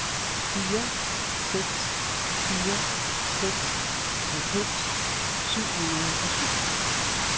fire seks fire seks halvfems syv hundrede og syv